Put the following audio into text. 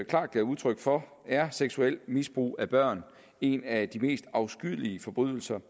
klart gav udtryk for er seksuelt misbrug af børn en af de mest afskyelige forbrydelser